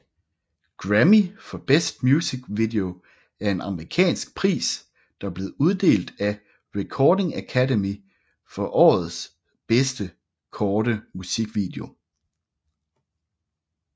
Grammy for Best Music Video er en amerikansk pris der blev uddelt af Recording Academy for årets bedste korte musikvideo